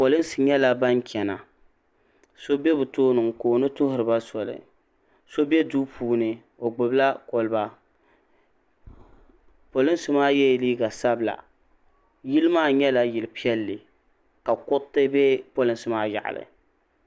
polinsi nyɛla ban chana so be bɛ tooni n-kooni tuhiri ba soli so be duu puuni o gbubi la kɔliba polinsi maa yela liiga sabila yili maa nyɛla yil' piɛlli ka kuriti be polinsi nima yaɣili.